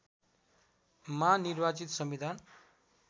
मा निर्वाचित संविधान